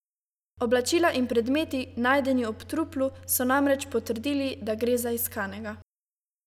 Oblačila in predmeti najdeni ob truplu so namreč potrdili, da gre za iskanega.